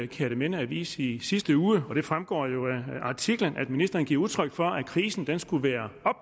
kjerteminde avis i sidste uge og det fremgår af artiklen at ministeren giver udtryk for at krisen skulle være